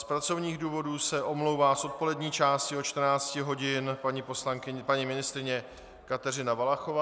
Z pracovních důvodů se omlouvá z odpolední části od 14.00 hodin paní ministryně Kateřina Valachová.